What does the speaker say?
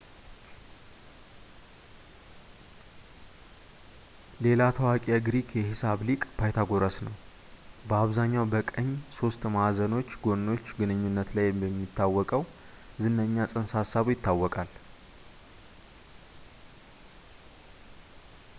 ሌላ ታዋቂ ግሪክ የሂሳብ ሊቅ ፓይታጎረስ ነው ፣ በአብዛኛው በቀኝ ሦስት ማዕዘኖች ጎኖች ግንኙነት ላይ በሚታወቀው ዝነኛ ፅንሰ-ሀሳቡ ይታወቃል